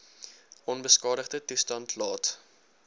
onbeskadigde toestand laat